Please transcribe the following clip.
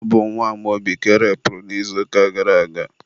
ọ bụ nwa Amaobi ka erepuru n'izuụka gara aga.